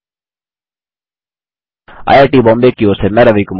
IIT Bombay की ओर से मैं रवि कुमार अब आप से विदा लेता हूँ